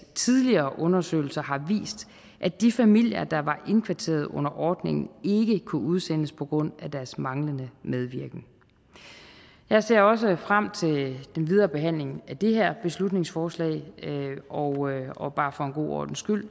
tidligere undersøgelser har vist at de familier der var indkvarteret under ordningen ikke kunne udsendes på grund af deres manglende medvirken jeg ser også frem til den videre behandling af det her beslutningsforslag og og bare for en god ordens skyld